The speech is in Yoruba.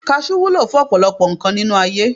Kajú wúlò fún ọ̀pọ̀lọpọ̀ nǹkan nínú ayé